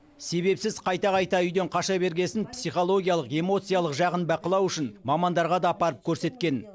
себепсіз қайта қайта үйден қаша бергесін психологиялық эмоциялық жағын бақылау үшін мамандарға да апарып көрсеткен